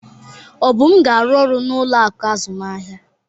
Obum ga-arụ ọrụ n'ụlọ akụ azụmahịa